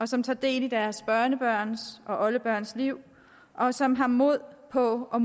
som tager del i deres børnebørns og oldebørns liv og som har mod på og